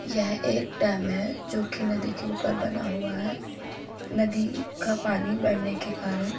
यह एक डैम है जो की नदी के ऊपर बना हुआ है। नदी का पानी बढ़ने के कारण --